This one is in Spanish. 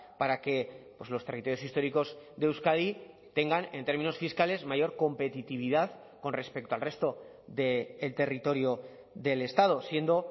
para que los territorios históricos de euskadi tengan en términos fiscales mayor competitividad con respecto al resto del territorio del estado siendo